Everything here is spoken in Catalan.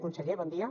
conseller bon dia